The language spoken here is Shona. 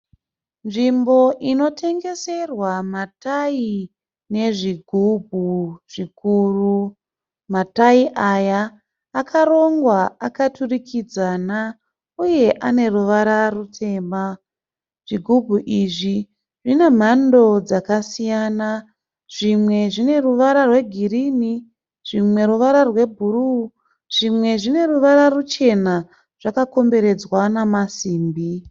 Nzvimbo inotengeserwa matayi nezvigubhu zvikuru. Matayi aya akarongwa akaturikidzana uye ane ruvara rutema. Zvigubhu izvi zvine mhando dzakasiyana. Zvimwe zvine ruvara rwegirinhi zvimwe ruvara rwebhuru zvimwe zvine ruvara ruchena zvakakomberedzwa namasimbi.